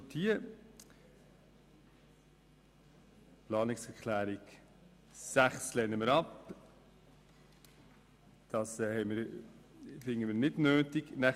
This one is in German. Die Planungserklärung 6 lehnen wir ab, weil wir sie für unnötig halten.